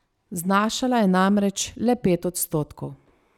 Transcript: Znašala je namreč le pet odstotkov.